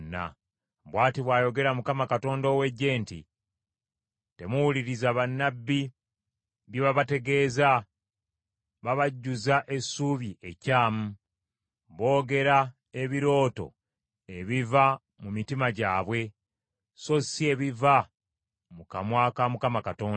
Bw’ati bw’ayogera Mukama Katonda ow’eggye nti, “Temuwuliriza bannabbi bye babategeeza: babajjuza essuubi ekyamu. Boogera ebirooto ebiva mu mitima gyabwe, so si ebiva mu kamwa ka Mukama Katonda.